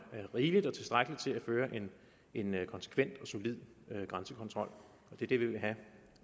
rigeligt og tilstrækkeligt til at føre en konsekvent og solid grænsekontrol det er det vi vil have